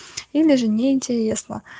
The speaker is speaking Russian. или же неинтересно